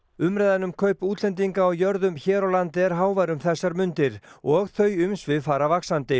umræðan um kaup útlendinga á jörðum hér á landi er hávær um þessar mundir og þau umsvif fara vaxandi